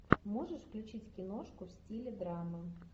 можешь включить киношку в стиле драмы